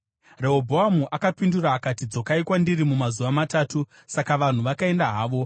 Rehobhoamu akapindura akati, “Dzokai kwandiri mumazuva matatu.” Saka vanhu vakaenda havo.